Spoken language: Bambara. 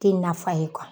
Tɛ nafa ye